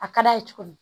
A ka d'a ye tuguni